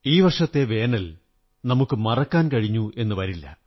ഈ വര്ഷരത്തെ വേനൽ നമുക്ക് മറക്കാൻ കഴിഞ്ഞെന്നു വരില്ല